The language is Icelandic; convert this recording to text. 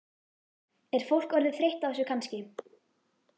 Er fólk orðið þreytt á þessu kannski?